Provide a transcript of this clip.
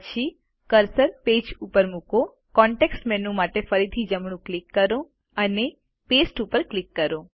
પછી cursor page ઉપર મુકો કોન્તેક્ષ્ટ મેનૂ માટે ફરીથી જમણું ક્લિક કરો અને પાસ્તે ઉપર ક્લિક કરો